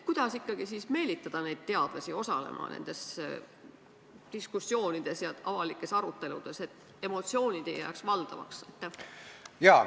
Kuidas ikkagi meelitada teadlasi osalema nendes diskussioonides ja avalikes aruteludes, et emotsioonid ei jääks valdavaks?